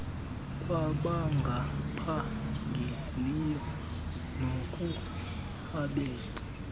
kwabangaphangeliyo naku abet